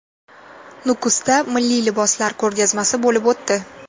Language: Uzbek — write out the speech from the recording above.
Nukusda milliy liboslar ko‘rgazmasi bo‘lib o‘tdi .